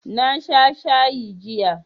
Na sha shayi jiya